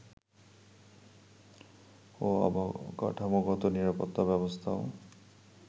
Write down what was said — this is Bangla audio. ও অবকাঠামোগত নিরাপত্তা ব্যবস্থাও